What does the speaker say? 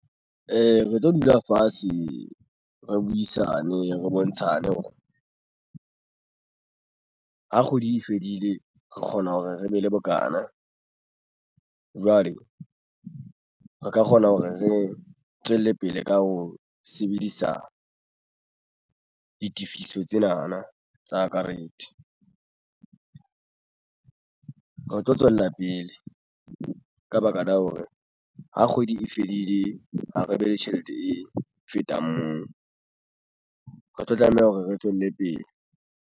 Ee, re tlo dula fatshe re buisane re bontshane hore ha kgwedi e fedile re kgona hore re be le bokana jwale re ka kgona hore re tswelle pele ka ho sebedisa ditifiso tsenana tsa karete. Re tlo tswella pele ka baka la hore ha kgwedi e fedile ha re be le tjhelete e fetang moo re tlo tlameha hore re tswelle pele.